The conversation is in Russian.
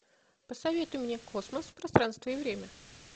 посоветуй мне космос пространство и время